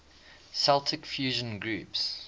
celtic fusion groups